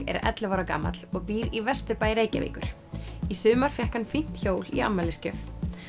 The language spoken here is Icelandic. er ellefu ára gamall og býr í Vesturbæ Reykjavíkur í sumar fékk hann fínt hjól í afmælisgjöf